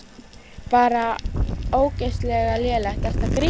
Bara ógeðslega lélegt, ertu að grínast?